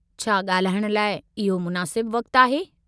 छा ॻाल्हाइणु लाइ इहो मुनासिबु वक़्तु आहे?